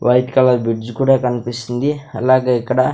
white colour bridge కుడ కన్పిస్తుంది అలాగే ఇక్కడ --